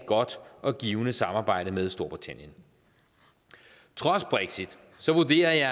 godt og givende samarbejde med storbritannien trods brexit vurderer jeg